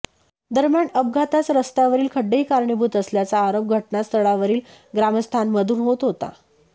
दरम्यान अपघातास रस्त्यावरील खड्डेही कारणीभूत असल्याचा आरोप घटनास्थळावरील ग्रामस्थांमधून होत होता